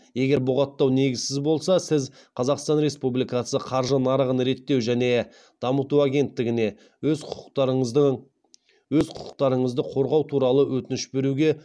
егер бұғаттау негізсіз болса сіз қазақстан республикасы қаржы нарығын реттеу және дамыту агенттігіне өз құқықтарыңызды қорғау туралы өтініш беруге